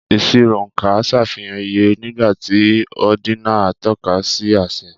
Ìṣirò oonka ṣàfihàn iye, nígbà tí ordinal ń tọ́ka sí àṣẹ.